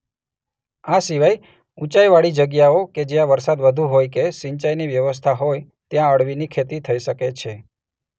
આ સિવાય ઉંચાઈવાળી જગ્યાઓ કે જ્યાં વરસાદ વધુ હોય કે સિંચાઈની વ્યવસ્થા હોય ત્યાં અળવીની ખેતી થઈ શકે છે.